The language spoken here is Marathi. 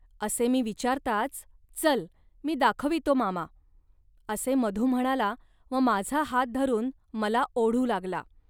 असे मी विचारताच "चल, मी दाखवितो, मामा. असे मधू म्हणाला व माझा हात धरून मला ओढू लागला